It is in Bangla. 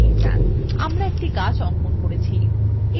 আমরা একটি গাছ অঙ্কন করেছি !